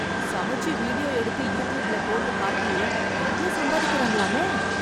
சமைச்சு வீடியோ எடுத்து யூட்யூப்ல போட்டு காட்டி நெறைய சம்பாதிக்கறாங்களாமே...!